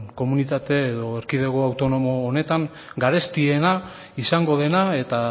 komunitate edo erkidego autonomo honetan garestiena izango dena eta